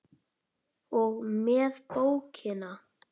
og með bókina!